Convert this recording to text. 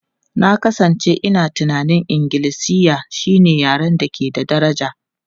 Na kasance ina tunanin Ingilishi shine yaren da ke da daraja.